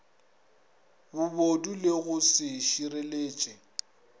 bobodu le go se šireletše